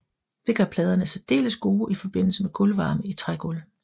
Det gør pladerne særdeles gode i forbindelse med gulvvarme i trægulv